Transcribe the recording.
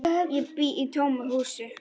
Ég bý í tómu húsi.